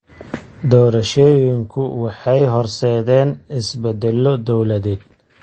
Doorashooyinku waxay horseedeen isbeddello dawladeed.